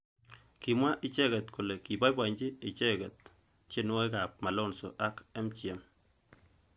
Kimwa icheket kole kiboiboji icheket tienwokik ab Malonza ak MGM.